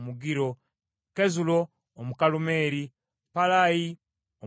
Kezulo Omukalumeeri, Paalayi Omwalubi,